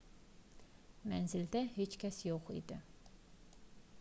mənzildə heç kəs yox idi